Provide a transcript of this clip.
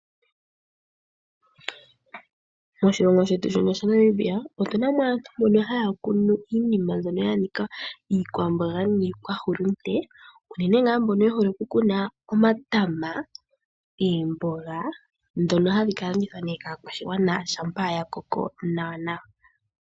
Moshilongo shetu shino shaNamibia otu na mo aantu mbono haya kunu iinima mbyono ya nika iikwamboga niikwahulunde. Unene ngaa mbono ye hole okukuna omatama, oomboga ndhono hadhi ka landithwa nee kaakwashigwana shampa ya koko nawa nawa.